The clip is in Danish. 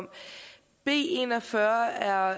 har